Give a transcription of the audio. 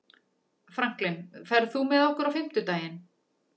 Franklin, ferð þú með okkur á fimmtudaginn?